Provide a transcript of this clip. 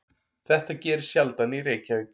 Þetta gerist sjaldan í Reykjavík.